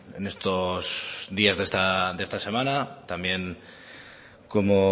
en estos días de esta semana también como